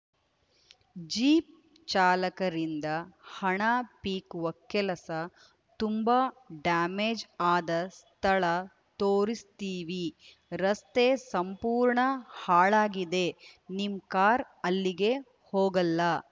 jeep ಚಾಲಕರಿಂಗ ಹಣ ಪೀಕುವ ಕೆಲಸ ತುಂಬಾ ಡ್ಯಾಮೇಜ್‌ ಆದ ಸ್ಥಳ ತೋರಿಸ್ತೀವಿ ರಸ್ತೆ ಸಂಪೂರ್ಣ ಹಾಳಾಗಿದೆ ನಿಮ್‌ ಕಾರ್‌ ಅಲ್ಲಿಗೆ ಹೋಗಲ್ಲ